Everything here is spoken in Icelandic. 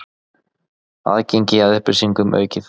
Aðgengi að upplýsingum aukið